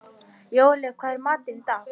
Jóel, hvað er í matinn?